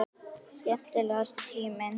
Skemmtilegasti tíminn?